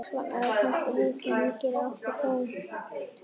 Þess vegna er það kannski lífslygi sem gerir okkur að þjóð meðal þjóða.